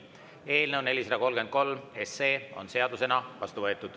Eelnõu 433 on seadusena vastu võetud.